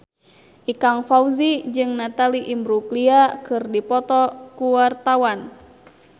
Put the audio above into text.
Ikang Fawzi jeung Natalie Imbruglia keur dipoto ku wartawan